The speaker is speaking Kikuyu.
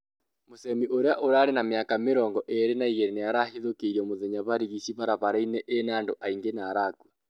Muchemi, ũria uri na miaka mĩrongo ĩrĩ na igiri nĩarahithũkĩirwo mũthenya barigĩcĩ barabara-inĩ ĩna andũ aingĩ na arakũa